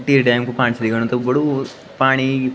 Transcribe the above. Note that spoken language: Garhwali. टिहरी डैम कु पाणी छ दिखेणु तख बडू पाणी।